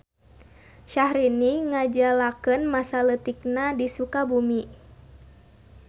Syahrini ngajalakeun masa leutikna di Sukabumi.